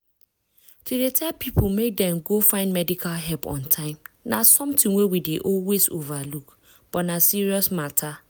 to dey tell people make dem go find medical help on time na something wey we dey always overlook but na serious matter.